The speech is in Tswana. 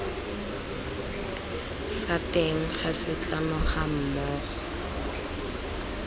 fa teng ga setlamo gammogo